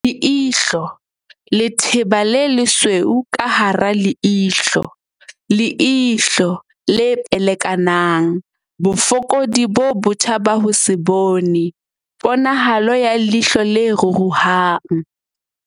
Leihlo. Letheba le lesweu ka hara leihlo, leihlo le pelekanang, bofokodi bo botjha ba ho se bone, ponahalo ya leihlo le ruruhang